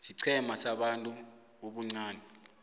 siqhema sabantu ubuncani